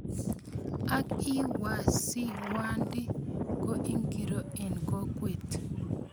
Ang ii, wasiwadi ko ingiro eng kokwet?